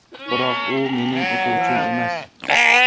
Biroq u mening o‘quvchim emas.